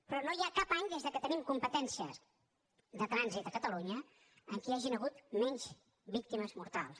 però no hi ha cap any des que tenim competències de trànsit a catalunya en què hi hagin hagut menys víctimes mortals